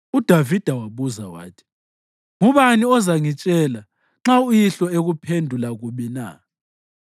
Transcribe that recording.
UDavida wabuza wathi, “Ngubani ozangitshela nxa uyihlo ekuphendula kubi na?”